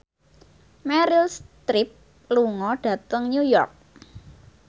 Meryl Streep lunga dhateng New York